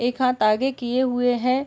एक हाथ आगे किये हुए है।